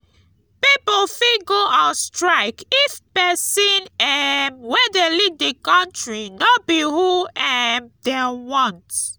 pipo fit go on strike if persin um wey de lead di country no be who um dem want